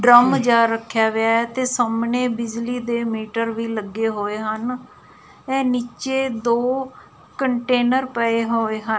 Drum ਜਿਹਾ ਰੱਖਿਆ ਵਿਆ ਐ ਤੇ ਸਾਹਮਣੇ ਬਿਜਲੀ ਦੇ ਮੀਟਰ ਵੀ ਲੱਗੇ ਹੋਏ ਹਨ ਇਹ ਨੀਚੇ ਦੋ ਕੰਟੇਨਰ ਪਏ ਹੋਏ ਹਨ।